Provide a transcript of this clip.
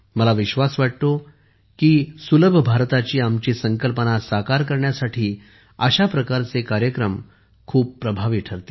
मला विश्वास वाटतो की सुलभ भारताची आमची संकल्पना साकार करण्यासाठी अशा प्रकारचे कार्यक्रम खूप प्रभावी ठरतील